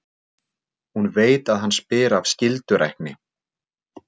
Hún veit að hann spyr af skyldurækni.